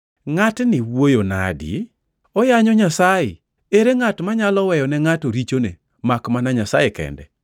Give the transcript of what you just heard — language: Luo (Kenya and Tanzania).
“Ngʼatni wuoyo nade? Oyanyo Nyasaye! Ere ngʼat manyalo weyone ngʼato richone makmana Nyasaye kende?”